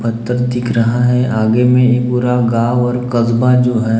पत्थर दिख रहा है आगे में पूरा गांव और कस्बा जो है--